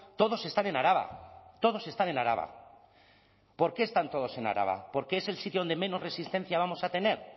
todos están en araba todos están en araba por qué están todos en araba porque es el sitio donde menos resistencia vamos a tener